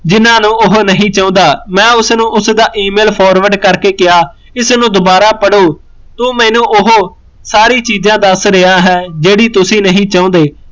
ਜਿਹਨਾਂ ਨੂੰ ਉਹ ਨਹੀਂ ਚਾਹੁੰਦਾ, ਮੈਂ ਉਸਨੂ ਉਸਦਾ email forward ਕਰਕੇ ਕਿਹਾਂ ਇਸਨੂੰ ਦਵਾਰਾਂ ਪੜੋ, ਸੋਂ ਉਹ ਮੈਂਨੂੰ ਸਾਰੀ ਚੀਜ਼ਾ ਦੱਸ ਰਿਹਾ ਹੈ ਜਿਹੜੀ ਤੁਸੀਂ ਨਹੀਂ ਚਾਹੁੰਦੇ